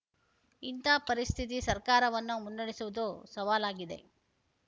ಇಂಥ ಪರಿಸ್ಥಿತಿ ಸರ್ಕಾರವನ್ನು ಮುನ್ನಡೆಸುವುದು ಸವಾಲಾಗಿದೆ